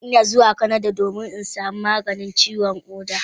Zan yi tafiya zuwa kasar canada domin in samu maganin ciwon koda.